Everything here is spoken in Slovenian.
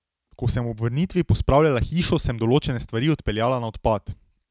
Ko sem ob vrnitvi pospravljala hišo, sem določene stvari odpeljala na odpad.